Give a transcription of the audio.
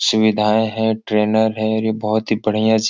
सुविधाएं है। ट्रेनर है। ये बोहोत ही बढ़िया जिम --